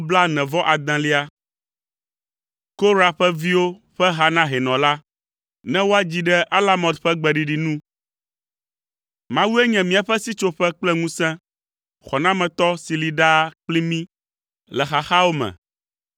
Korah ƒe viwo ƒe ha na hɛnɔ la, ne woadzi ɖe alamot ƒe gbeɖiɖi nu. Mawue nye míaƒe sitsoƒe kple ŋusẽ, xɔnametɔ si li ɖaa kpli mí le xaxawo me.